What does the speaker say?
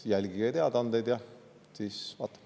Jälgige teadaandeid ja siis vaatame.